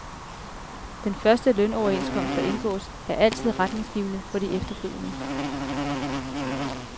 Den første lønoverenskomst, der indgås, er altid retningsgivende for de efterfølgende.